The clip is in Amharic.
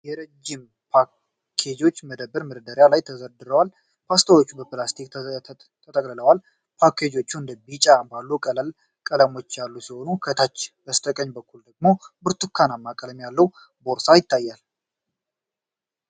የረጅም ፓስታ ፓኬጆች በመደብር መደርደሪያዎች ላይ ተደርድረዋል። ፓስታዎቹ በፕላስቲክ ተጠቅልለዋል። ፓኬጆቹ እንደ ቢጫ ባሉ ቀላል ቀለሞች ያሉ ሲሆን፣ ከታች በስተቀኝ በኩል ደግሞ ብርቱካናማ ቀለም ያለው ቦርሳ ይታያል።